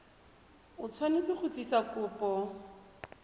o tshwanetse go tlisa kopo